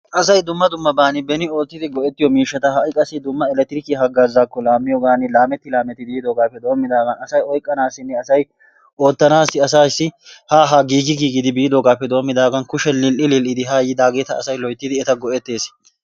Asay dumma dummaban beni oottidi goettiyo miishshata hai qassi dumma electrikiya hagaazakko laamiyogaan lameti laameti yiidoogaappe doomidaagan asay oyqqanaassinne asay oottanaassi asaassi ha haa giigi giigidi biidoogaappe doomidaagan kushe lil'i lil'i haa yiidageeta asay loyttidi eta goettees.